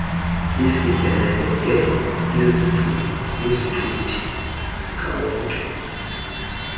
ifikeleleke ngezithuthi zikawonke